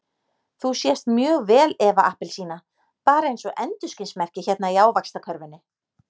Þú sést mjög vel Eva appelsína, bara eins og endurskinsmerki hérna í Ávaxtakörfunni.